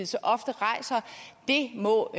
så ofte rejser det må